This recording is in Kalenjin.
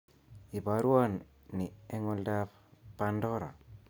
Iborwon ni eng oldoab Pandora